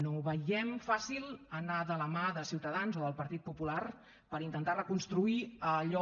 no veiem fàcil anar de la mà de ciutadans o del partit popular per intentar reconstruir allò